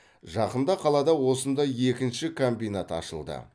жақында қалада осындай екінші комбинат ашылды